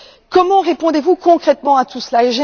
Comment répondez vous concrètement à tout cela?